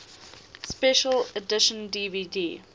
special edition dvd